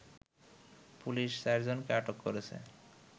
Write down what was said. police চারজনকে আটক করেছে